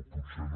o potser no